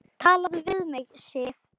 TALAÐU VIÐ MIG, SIF!